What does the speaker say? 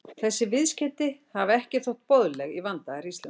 Þessi viðskeyti hafa ekki þótt boðleg í vandaðri íslensku.